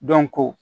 Dɔnko